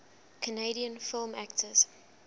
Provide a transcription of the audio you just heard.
canadian film actors